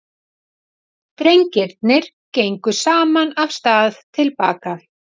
Drengirnir gengu saman af stað til baka.